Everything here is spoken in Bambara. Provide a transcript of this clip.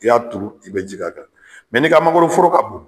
I y'a turu i be ji k'a kan mɛ n'i ka mangoroforo ka bon